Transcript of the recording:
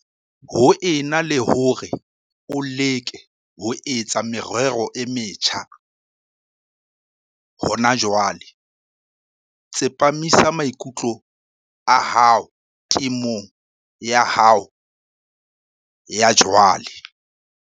Ho ena le hore o leke ho etsa merero e metjha hona jwale, tsepamisa maikutlo a hao temong ya hao ya jwale.